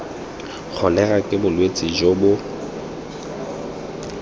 kholera ke bolwetse jo bo